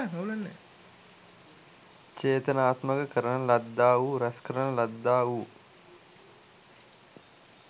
චේතනාත්මක කරන ලද්දා වූ රැස් කරන ලද්දා වූ